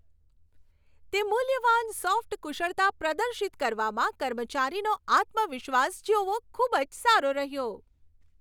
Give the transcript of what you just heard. તે મૂલ્યવાન સોફ્ટ કુશળતા પ્રદર્શિત કરવામાં કર્મચારીનો આત્મવિશ્વાસ જોવો, ખૂબ જ સારો રહ્યો.